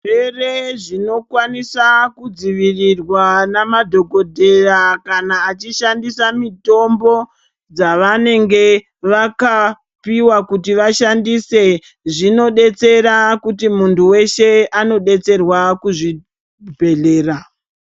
Zvirwere zvinokwanisa kudzivirirwa namadhokodheya kana achishandisa mitombo dzavanenge vakapiwa kuti vashandise zvinobetsera kuti muntu weshe anobetserwa kuzvibhedhlera.